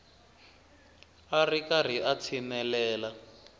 a ri karhi a tshinelela